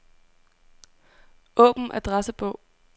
Åbn adressebog.